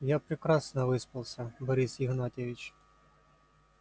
я прекрасно выспался борис игнатьевич